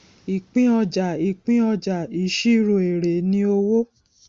ìpín ọjà ìpín ọjà ìṣirò èrè ni owó